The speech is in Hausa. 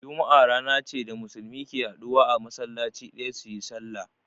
Juma'a rana ce da Musulmi ke haduwa a masallaci ɗaya su yi sallah.